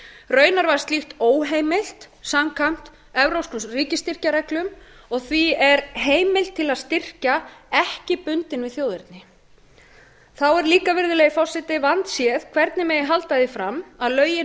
var slíkt óheimilt samkvæmt evrópskum ríkisstyrkjareglum og því er heimild til að styrkja ekki bundin við þjóðerni þá er líka virðulegi forseti vandséð hvernig megi halda því fram að lögin